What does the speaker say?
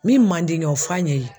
Min man di ɲɛ o fɔ a ɲɛ yen.